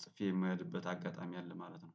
ጽፌ የምሄድበት አጋጣሚ አለ ማለት ነው